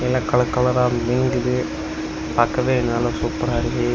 எல்லா கலர் கலர மின்குது. பாக்கவே எல்லா நல்லா சூப்பரா இருக்கு.